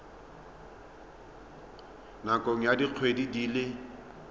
nakong ya dikgwedi di le